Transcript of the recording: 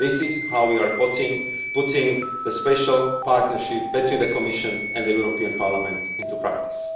This is how we are putting the special partnership between the Commission and the European Parliament into practice.